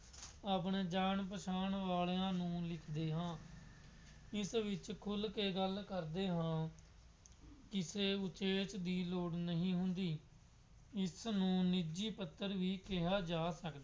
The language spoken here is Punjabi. ਆਪਣੇ ਜਾਣ-ਪਛਾਣ ਵਾਲਿਆ ਨੂੰ ਲਿਖਦੇ ਹਾਂ। ਇਸ ਵਿੱਚ ਖੁੱਲ੍ਹ ਕੇ ਗੱਲ ਕਰਦੇ ਹਾਂ। ਕਿਸੇ ਵਿਸ਼ੇਸ਼ ਦੀ ਲੋੜ ਨਹੀਂ ਹੁੰਦੀ। ਇਸਨੂੰ ਨਿੱਜੀ ਪੱਤਰ ਵੀ ਕਿਹਾ ਜਾ ਸਕਦਾ